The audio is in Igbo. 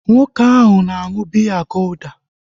Nwoke ahu na aṅụ biya golda